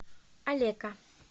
алека